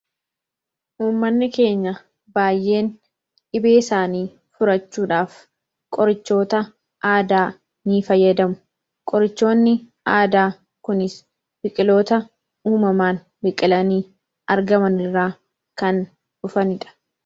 Uummanni keenya baayyeen dhibee isaanii furachuudhaaf qorichoota aadaa ni fayyadamu. Qorichoonni aadaa kunis biqiloota uumaman biqilanii argamanirraa kan dhufanidha.